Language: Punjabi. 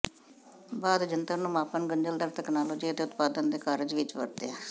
ਬਾਅਦ ਜੰਤਰ ਨੂੰ ਮਾਪਣ ਗੁੰਝਲਦਾਰ ਤਕਨਾਲੋਜੀ ਅਤੇ ਉਤਪਾਦਨ ਦੇ ਕਾਰਜ ਵਿੱਚ ਵਰਤਿਆ